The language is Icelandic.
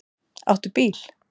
Áttu bíl?